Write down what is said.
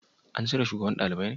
An cire shugaban dalibai ne?